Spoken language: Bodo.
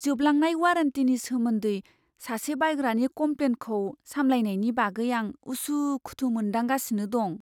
जोबलांनाय वारेन्टीनि सोमोन्दै सासे बायग्रानि कमप्लेनखौ सामलायनायनि बागै आं उसु खुथु मोनदांगासिनो दं।